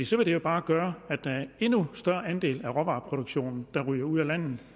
så vil det jo bare gøre at der er endnu større andele af råvareproduktionen der ryger ud af landet